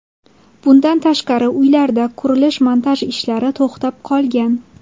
Bundan tashqari, uylarda qurilish-montaj ishlari to‘xtab qolgan.